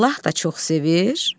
Allah da çox sevir.